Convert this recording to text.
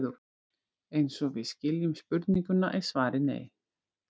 Eins og við skiljum spurninguna er svarið nei.